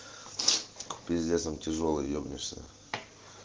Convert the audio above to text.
пиздец он тяжёлый ебнулся